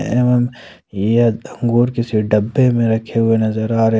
एवं यह अंगूर किसी डब्बे में रखे हुए नजर आ रहे--